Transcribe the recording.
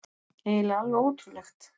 Eiginlega alveg ótrúlegt.